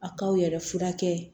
A k'aw yɛrɛ furakɛ